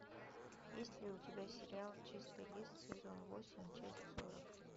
есть ли у тебя сериал чистый лист сезон восемь часть сорок